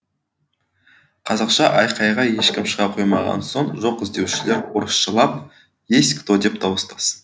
қазақша айқайға ешкім шыға қоймаған соң жоқ іздеушілер орысшалап есть кто деп дауыстасын